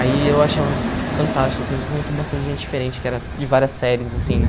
Aí eu achava tipo fantástico, assim, que eu conheci bastante gente diferente, que era de várias séries, assim, né.